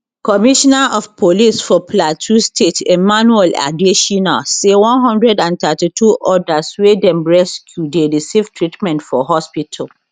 commissioner of police for plateau state emmanuel adesina say 132 odas wey dem rescue dey receive treatment for hospital